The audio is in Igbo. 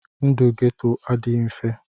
Ndụ Geto adịghị mfe.